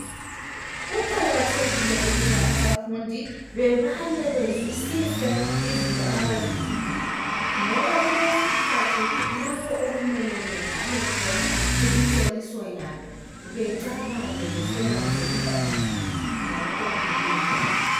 Kuqakathekile ukuba abafundi bebale bezwisise izinto abazifundayo ngoba kulesikhathi lapho okumele bebhale khona imihloliso yabo. Becabange besebenzise ingqondo zabo ngokuqondileyo.